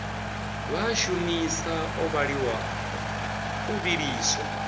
vha a shumisa o vhiliswa